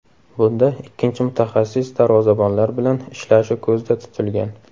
Bunda ikkinchi mutaxassis darvozabonlar bilan ishlashi ko‘zda tutilgan.